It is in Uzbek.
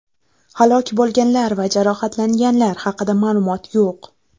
Halok bo‘lganlar va jarohatlanganlar haqida ma’lumot yo‘q.